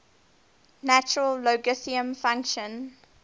natural logarithm function